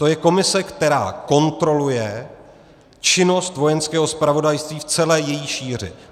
To je komise, která kontroluje činnost Vojenského zpravodajství v celé její šíři.